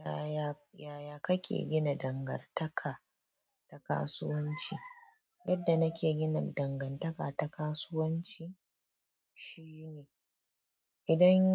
Yaya, yaya kake gina dangantaka ta kasuwanci? Yadda nake gina dangantaka ta kasuwanci shine idan